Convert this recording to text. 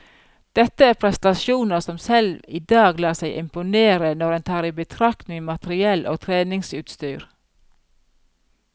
Dette er prestasjoner som selv i dag lar seg imponere, når en tar i betraktning materiell og treningsutstyr.